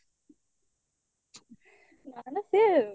ସିଏ